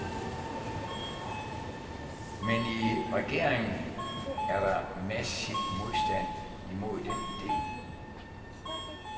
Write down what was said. Men i regeringen er der massiv modstand imod den ide.